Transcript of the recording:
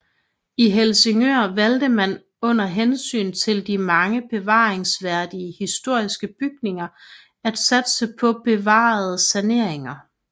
I Helsingør valgte man under hensyn til de mange bevaringsværdige historiske bygninger at satse på bevarende sanering